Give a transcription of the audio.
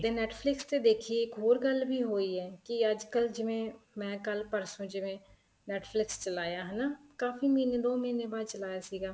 Netflix ਤੇ ਦੇਖੀਏ ਇੱਕ ਹੋਰ ਗੱਲ ਵੀ ਹੋਈ ਹੈ ਕੀ ਅੱਜ ਕੱਲ ਜਿਵੇਂ ਮੈਂ ਕੱਲ ਪਰਸੋ ਜਿਵੇਂ Netflix ਚਲਾਇਆ ਹਨਾ ਕਾਫ਼ੀ ਮਹੀਨੇ ਦੋ ਮਹੀਨੇ ਬਾਅਦ ਚਲਾਇਆ ਸੀਗਾ